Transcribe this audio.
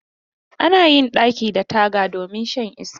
Ana yin ɗaki da taga domin shan iska.